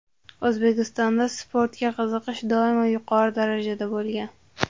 O‘zbekistonda sportga qiziqish doimo yuqori darajada bo‘lgan.